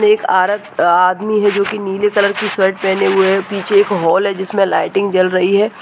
एक औरत एक आदमी है जिसने नीले कलर की शर्ट पहने हुए है पीछे हॉल एक है जिसमे एक लाइटिंग जल रही है।